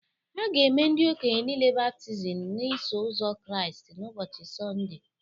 A ga-eme ndị okenye niile baptizim n’Iso Ụzọ Kraịst n’ụbọchị Sọnde